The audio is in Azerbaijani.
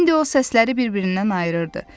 İndi o səsləri bir-birindən ayırırdı.